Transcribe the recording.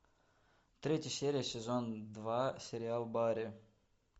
третья серия сезон два сериал барри